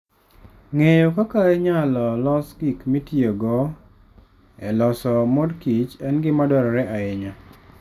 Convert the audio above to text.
Ng'eyo kaka inyalo los gik mitiyogo e loso mor kich en gima dwarore ahinya.